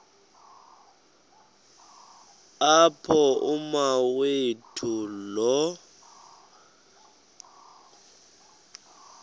apho umawethu lo